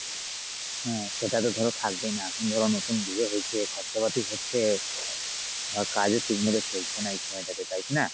হ্যাঁ সেটাতো ধর থাকবেই। না? এখন ধর নতুন বিয়ে হয়েছে খরচাপাতি হচ্ছে আহ কাজও ঠিক মত চলছেনা এই সময়টাতে তাই কী না?